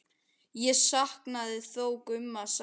Ég saknaði þó Gumma sárt.